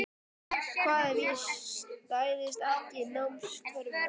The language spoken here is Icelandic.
Hvað ef ég stæðist ekki námskröfurnar?